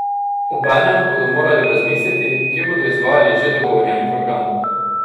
Obenem bodo morali razmisliti, kje bodo izvajali že dogovorjeni program.